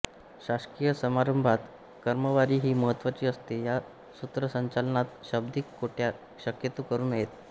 शासकीय समारंभात क्रमवारी ही महत्त्वाची असते या सूत्रसंचालनात शाब्दिक कोट्या शक्यतो करू नयेत